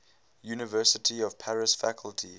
university of paris faculty